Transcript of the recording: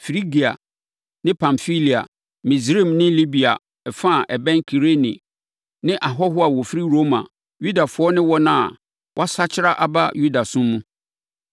Frigia ne Pamfilia, Misraim ne Libia fa a ɛbɛn Kirene ne ahɔhoɔ a wɔfiri Roma, Yudafoɔ ne wɔn a wɔasakyera aba Yudasom mu,